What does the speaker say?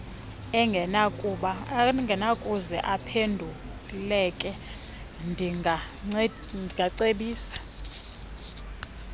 engenakuze iphenduleke ndingacebisa